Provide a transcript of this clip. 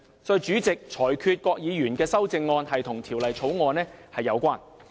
所以，主席亦裁決郭議員的修正案與《條例草案》有關。